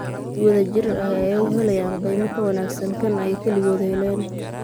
Si wada jir ah ayay u helayaan qiimo ka wanaagsan kan ay kaligood helaan.